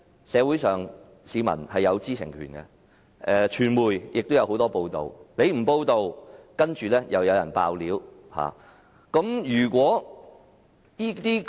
市民有知情權，傳媒亦有很多報道，即使政府不公布，亦有人"爆料"。